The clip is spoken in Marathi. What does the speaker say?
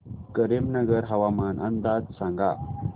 करीमनगर हवामान अंदाज सांग